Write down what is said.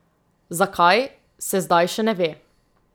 Zakaj, se zdaj še ne ve.